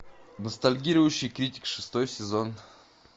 ностальгирующий критик шестой сезон